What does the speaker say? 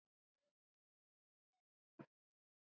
Líney og Reynir.